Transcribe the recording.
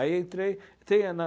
Aí eu entrei. Entrei na